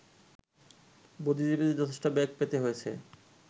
বুদ্ধিজীবীদের যথেষ্ট বেগ পেতে হয়েছে